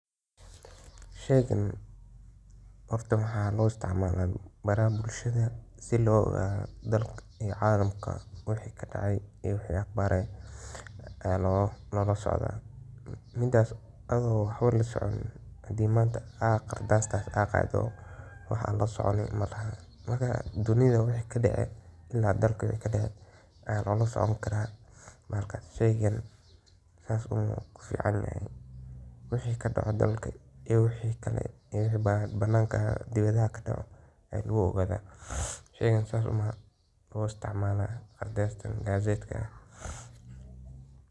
Sheygan horta maxaa loo isticmala baraha bulshadho sii loogadho dalka iyo calamka wixi kadacay iyo wixi aqbaar eeh ayaa lolasocdaa midas adho waxbo lasoconin. hadii manta aad qardas adqado waxa lasoconi malaha. marka dunida wixi kadacay iyo dalka wixi kadacay ayaa lolasocon karaa. marka sheygan sidhasi umbuu kuficanyahay. wixi kadaco dalka iyo bananka dibidhaha kadaco ayaa lagu ogadhaa. sheygan sidhasi umbaa loo isticmaala qardastaan gazetkan.